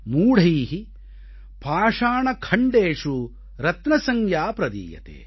மூடை பாஷாணகண்டேஷு ரத்ன சஞ்யா ப்ரதீயதே